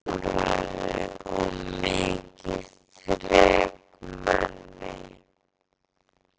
Hann var múrari og mikið þrekmenni.